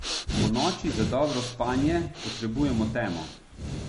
Ponoči za dobro spanje potrebujemo temo.